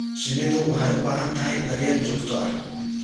Shinnidu waxay u baahan tahay daryeel joogto ah.